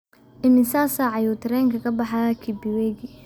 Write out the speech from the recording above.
Imisa saac ayuu tareenku ka baxayaa Kibiwegi?